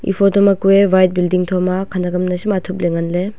e photo ma kue white building thoma khanak am nasham athup ley ngan ley.